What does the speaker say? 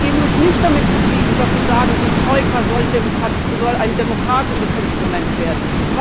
Wir geben uns nicht damit zufrieden, dass Sie sagen Die Troika soll ein demokratisches Instrument werden.